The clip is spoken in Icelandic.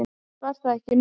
Samt var það ekki nóg.